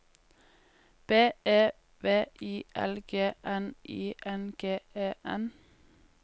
B E V I L G N I N G E N